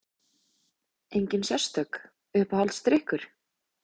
Engin sérstök Uppáhaldsdrykkur?